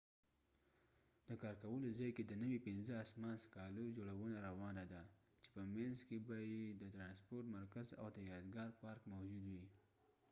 د کار کولو ځای کې د نوي پنځه اسمان څکالو جوړونه روانه ده چې په مينځ کې به يې د ترانسپورت مرکز او د يادګار پارک موجود وي